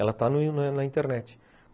Ela está na na internet.